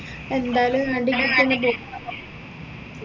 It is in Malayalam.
എന്തായാലും രണ്ടിൻെറ അടുത്തെന്നെ പോയി